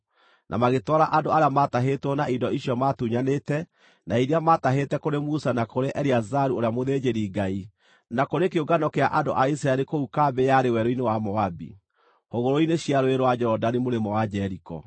na magĩtwara andũ arĩa matahĩtwo na indo icio maatunyanĩte, na iria maatahĩte kũrĩ Musa na kũrĩ Eleazaru ũrĩa mũthĩnjĩri-Ngai na kũrĩ kĩũngano kĩa andũ a Isiraeli kũu kambĩ yarĩ werũ-inĩ wa Moabi, hũgũrũrũ-inĩ cia Rũũĩ rwa Jorodani mũrĩmo wa Jeriko.